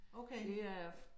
Okay